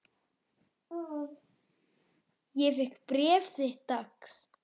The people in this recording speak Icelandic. Ég fékk bréf þitt dags.